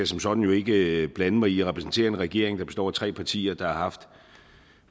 som sådan ikke blande mig i jeg repræsenterer en regering der består af tre partier der har haft